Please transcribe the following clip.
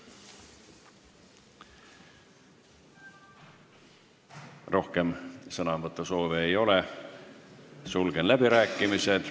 Rohkem sõnavõtusoove ei ole, sulgen läbirääkimised.